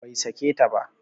Bai sake ta ba